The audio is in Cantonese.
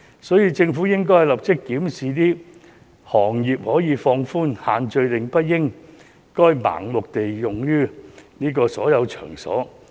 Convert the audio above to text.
所以，政府應該立即檢視，放寬對相關行業的限制，因為限聚令不應該盲目適用於所有場所。